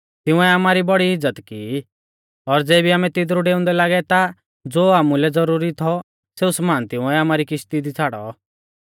तिंउऐ आमारी बौड़ी इज़्ज़त की ई और ज़ेबी आमै तिदरु डेउंदै लागै ता ज़ो आमुलै ज़ुरुरी थौ सेऊ समान तिंउऐ आमारी किश्ती छ़ाड़ौ